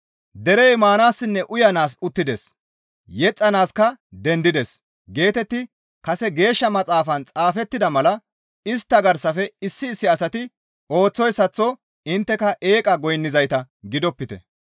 «Derey maanaassinne uyanaas uttides; yexxanaaska dendides» geetetti kase Geeshsha Maxaafan xaafettida mala istta garsafe issi issi asati ooththoyssaththo intteka eeqa goynnizayta gidopite.